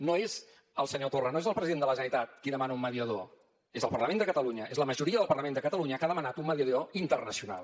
no és el senyor torra no és el president de la generalitat qui demana un mediador és el parlament de catalunya és la majoria del parlament de catalunya que ha demanat un mediador internacional